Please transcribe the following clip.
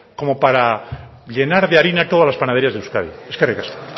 como para llenar de harina todas las panaderías de euskadi eskerrik asko